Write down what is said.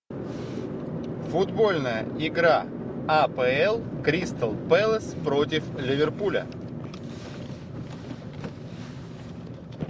футбольная игра апл кристал пэлас против ливерпуля